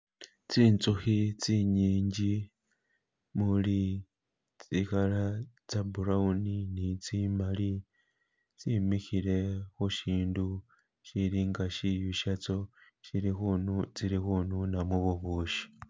Tsi nzukhi tsi nyingi muli tsi color tse brown ni tsi maali tsimikhile khushindu shilinga shiyu shatso tsili khununamo bubushi.